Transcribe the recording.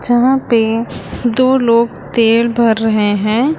जहां पे दो लोग तेल भर रहे हैं।